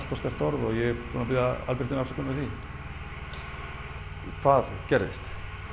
sterkt orð og ég er búinn að biðja Albertínu afsökunar á því hvað gerðist